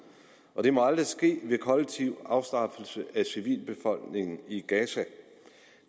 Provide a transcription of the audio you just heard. og det må aldrig ske ved kollektiv afstraffelse af civilbefolkningen i gaza